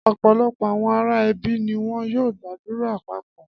Ọ̀pọ̀lọpọ̀ àwọn ará ẹbí ni wọ́n yóò gbàdúrà papọ̀.